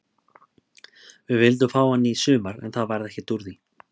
Við vildum fá hann í sumar en það varð ekkert úr því.